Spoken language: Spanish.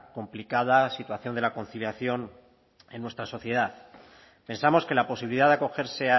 complicada situación de la conciliación en nuestra sociedad pensamos que la posibilidad de acogerse